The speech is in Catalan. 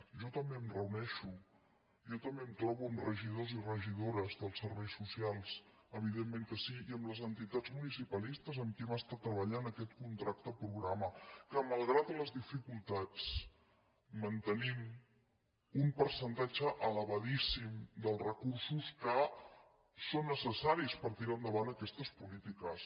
jo també em reuneixo jo també em trobo amb regi·dors i regidores dels serveis socials evidentment que sí i amb les entitats municipalistes amb qui hem es·tat treballant aquest contracte programa que malgrat les dificultats mantenim un percentatge elevadíssim dels recursos que són necessaris per tirar endavant aquestes polí tiques